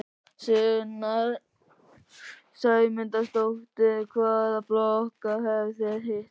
Sunna Sæmundsdóttir: Hvaða flokka hafið þið hitt?